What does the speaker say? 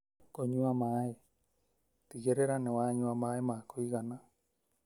Kũnywa maĩ: Tigĩrĩra nĩ wanyua maĩ ma kũigana